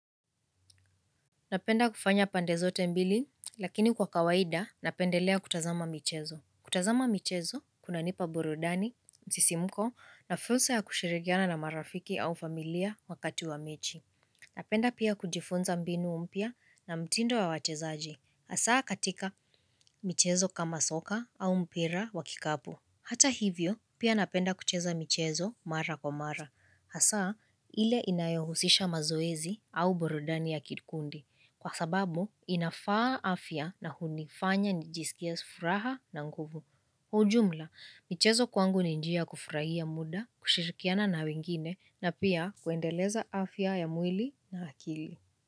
Napenda kufanya pandezote mbili, lakini kwa kawaida, napendelea kutazama michezo. Kutazama michezo, kuna nipa burudani, msisimuko na fursa ya kushirikiana na marafiki au familia wakati wa mechi. Napenda pia kujifunza mbinu mpya na mtindo wa wachezaji. Hasaa katika michezo kama soka au mpira wa kikapu. Hata hivyo, pia napenda kucheza michezo mara kwa mara. Hasaa, ile inayohusisha mazoezi au burudani ya kikundi. Kwa sababu, inafaa afya na hunifanya nijisikie furaha na nguvu. Hujumla, michezo kwangu ni njia kufurahia muda, kushirikiana na wengine, na pia kuendeleza afya ya mwili na akili.